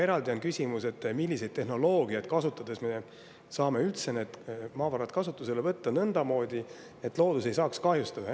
Eraldi küsimus on, milliseid tehnoloogiaid kasutades me saame üldse need maavarad kasutusele võtta nõndamoodi, et loodus ei saaks kahjustada.